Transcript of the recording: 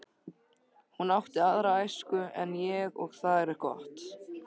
Hún átti aðra æsku en ég og það er gott.